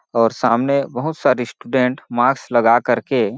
और सामने बहुत सारे स्टूडेंट मार्क्स लगा कर के --